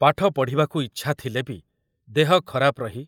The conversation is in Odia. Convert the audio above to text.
ପାଠ ପଢ଼ିବାକୁ ଇଚ୍ଛା ଥିଲେ ବି ଦେହ ଖରାପ ରହି